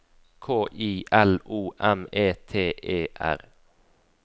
K I L O M E T E R